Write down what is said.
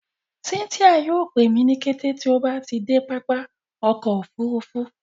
Cynthia yóò pẹ mi ni kẹtẹ tí o bá de pápá ọkọ̀ òfurufú